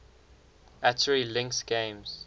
atari lynx games